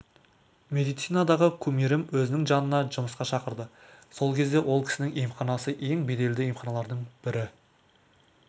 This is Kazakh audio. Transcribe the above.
медицинадағы кумирім өзінің жанына жұмысқа шақырды сол кезде ол кісінің емханасы ең беделді емханалардың бірі